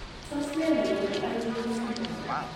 Tos nee negonu Igm syndrome ?